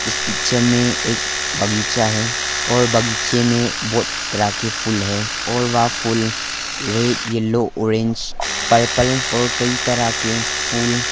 इस पिक्चर में एक बगीचा है और बगीचे में बहुत तरह के फूल है और वह फूल रेड येलो ऑरेंज पर्पल और कई तरह के फूल--